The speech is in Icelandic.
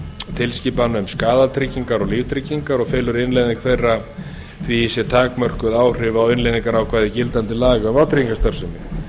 tilskipana um skaðatryggingar og líftryggingar og felur innleiðing þeirra því í sér takmörkuð áhrif á innleiðingarákvæði gildandi laga um vátryggingastarfsemi